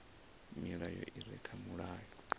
milayo i re kha mulayo